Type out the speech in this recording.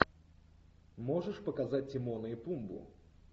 можешь показать тимона и пумбу